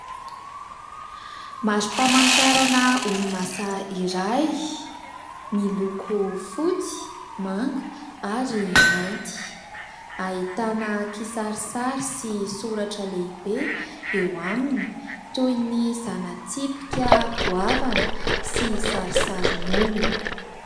Marim-pahamantarana orinasa iray, miloko fotsy, manga ary mainty. Ahitana kisarisary sy soratra lehibe eo aminy, toy ny zana-tsipika goavana sy sarisarin'olona.